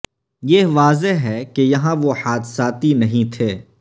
یہ واضح ہے کہ یہاں وہ حادثاتی نہیں تھے